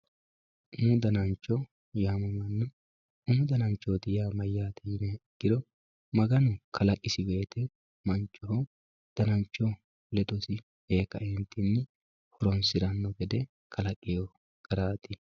umu danancho yaamamanno umu danancho yaa mayyate yiniha ikkiro maganu kalaqisi woyiite manchoho danancho ledosi ee kaeentinni horonsiranno gede kalaqino garaati.